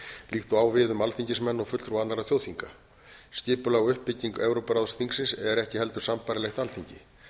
líkt og á við um alþingismenn og fulltrúa annarra þjóðþinga skipulag og uppbygging evrópuráðsþingsins eru ekki heldur sambærilegt alþingi